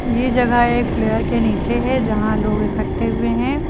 ये जगह एक के नीचे है जहां लोग इक्कठे हुए है।